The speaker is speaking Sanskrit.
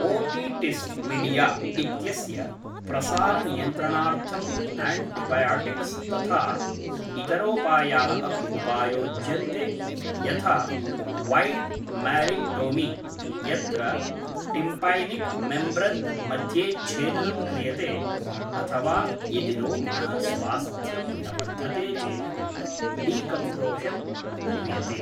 ओटिटिस् मिडिया इत्यस्य प्रसारनियन्त्रणार्थम् आण्टिबायोटिक्स् तथा इतरोपाया अपि उपायोज्यन्ते यथा वैड् मैरिङ्गोटोमि यत्र टिम्पैनिक् मेम्ब्रेन् मध्ये छेदनं क्रियते अथवा यदि रोगिणः स्वास्थ्यं न वर्धते चेत् डिकोम्प्रेशन् क्रियते।